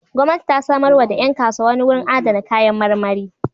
Gwamnati ta samarwa da ƴan kasuwa wani wurin adana kayan marmari.